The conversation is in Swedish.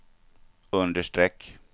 understreck